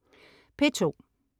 P2: